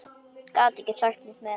Gat ekki sagt neitt meira.